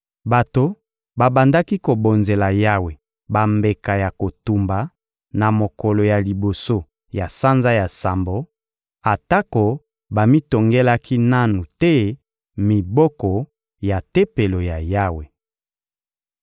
Bato babandaki kobonzela Yawe bambeka ya kotumba na mokolo ya liboso ya sanza ya sambo, atako bamitongelaki nanu te miboko ya Tempelo ya Yawe.